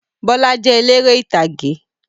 Bọlá jẹ́ eléré ìtàgé.